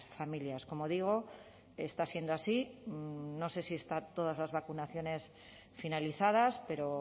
familias como digo está siendo así no sé si están todas las vacunaciones finalizadas pero